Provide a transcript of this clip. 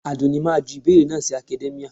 Àdùnní máa ju ìbéèrè náà sí academia